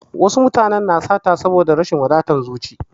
Wasu mutanen na sata saboda da rashin wadatar zuci.